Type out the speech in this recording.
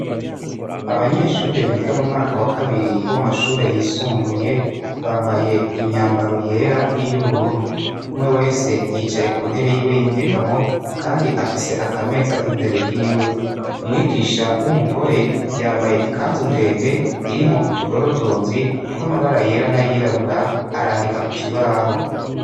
Abanyeshure biga mu mwaka wa kabiri w' amashure yisumbuye bambaye imyambaro yera n'iyubururu umwe wese yicaye ku ntebe yiwe y'inyegamo, kandi afise akameza imbere yiwe umwigisha w'umugore yambaye ikanzu ndende iri mwo utudorodonzi tw'amabara yera na yirabura arandika kukibaho.